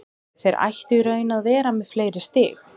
Þeir ættu í raun að vera með fleiri stig.